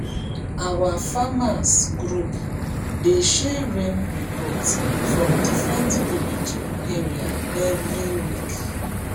our farmers group dey share rain report from different village area every week